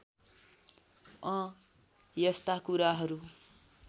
अँ यस्ता कुराहरू